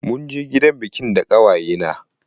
Munje gidan biƙin da ƙawaye na.